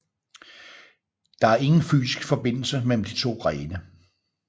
Der er ingen fysisk forbindelse mellem de to grene